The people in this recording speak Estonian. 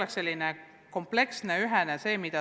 Aga vaja on näha kompleksset tervikut.